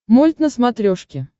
мульт на смотрешке